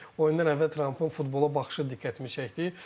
Oyundan əvvəl Trumpın futbola baxışı diqqətimi çəkdi.